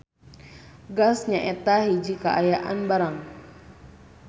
Gas nyaeta hiji kaayaan barang.